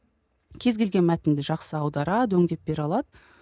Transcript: кез келген мәтінді жақсы аударады өңдеп бере алады